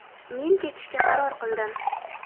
Men ketishga qaror qildim.